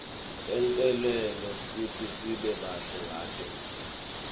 tentelwe kutsi sibe bahle ngato